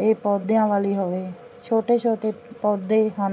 ਇਹ ਪੌਦਿਆਂ ਵਾਲੀ ਹੋਵੇ ਛੋਟੇ ਛੋਟੇ ਪੌਦੇ ਹਨ।